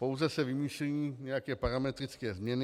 Pouze se vymýšlejí nějaké parametrické změny.